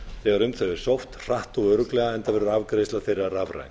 þegar um þau er sótt hratt og örugglega enda verður afgreiðsla þeirra rafræn